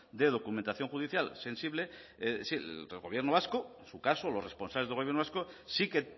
de documentación judicial sensible el gobierno vasco en su caso los responsables del gobierno vasco sí que